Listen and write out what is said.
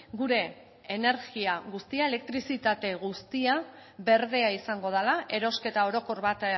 gure energia guztia elektrizitate guztia berdea izango dela erosketa orokor bat